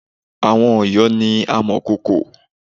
Àwon Òyó ni amọ̀kòkò